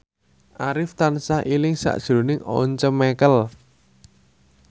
Arif tansah eling sakjroning Once Mekel